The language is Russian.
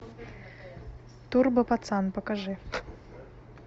турбо пацан покажи